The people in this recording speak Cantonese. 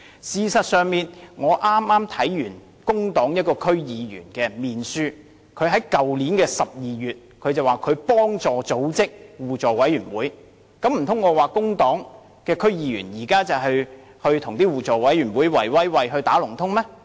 事實上，我剛剛看到一位工黨區議員的面書，他在去年12月說，他協助組織了一個互委會，難道我又說工黨的區議員與互委會"圍威喂"、"打龍通"嗎？